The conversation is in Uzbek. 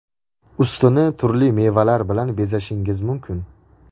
Ustini turli mevalar bilan bezashingiz mumkin.